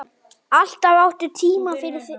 Alltaf áttu tíma fyrir mig.